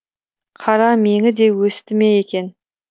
қара меңі де өсті ме екен